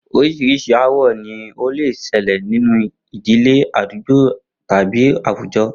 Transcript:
Orís̩irís̩i aáwò̩ ni ó lè s̩e̩lè̩ nínú ìdílé, àdúgbò tàbí àwùjo̩